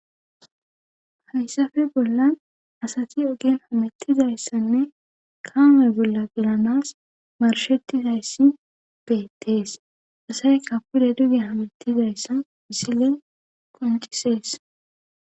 hayssafe bolla asati ogen hamettizayssanne kaame bolla gilanas marshettizayssi beettees asayy kapude duge hametizayssa misile koncisees